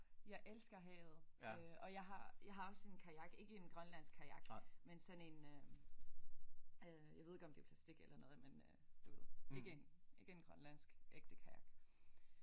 Jeg elsker havet øh og jeg har jeg har også en kajak ikke en grønlandsk kajak men sådan en øh jeg ved ikke om det er plastic eller noget men du ved ikke en ikke en grønlandsk ægte kajak